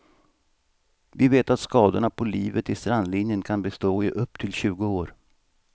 Vi vet att skadorna på livet i strandlinjen kan bestå i upp till tjugo år.